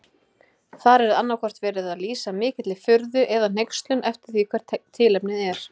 Þar er annaðhvort verið að lýsa mikilli furðu eða hneykslun eftir því hvert tilefnið er.